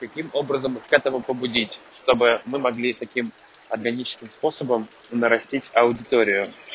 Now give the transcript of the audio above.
таким образом к этому побудить чтобы мы могли таким ограниченным способом нарастить аудиторию